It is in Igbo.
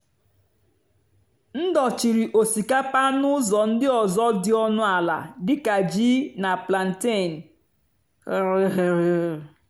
m dòchírì ó̟sìkápà nà ụ́zọ̀ ndí ọ́zọ́ dì ónú àlà dì kà jìí nà plántéen.